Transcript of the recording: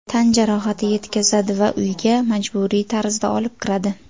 Tan jarohati yetkazadi va uyga majburiy tarzda olib kiradi.